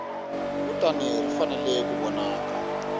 kutani ri fanele ku vonaka